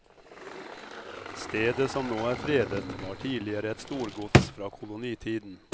Stedet som nå er fredet var tidligere et storgods fra kolonitiden.